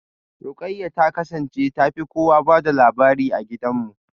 Ruqayyah ta kasance ta fi kowa ba da labari a gidanmu.